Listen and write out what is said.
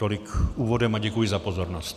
Tolik úvodem a děkuji za pozornost.